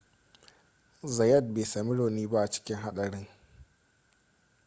zayat bai sami rauni ba a cikin haɗarin